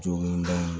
Joginda in